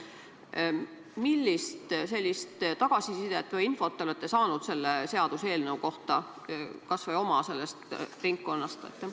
Millist tagasisidet või infot te olete saanud selle seaduseelnõu kohta, kas või oma ringkonnast?